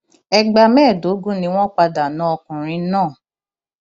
ẹgbà mẹẹẹdógún ni wọn padà na ọkùnrin náà